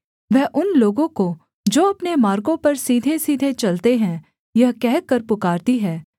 वह उन लोगों को जो अपने मार्गों पर सीधेसीधे चलते हैं यह कहकर पुकारती है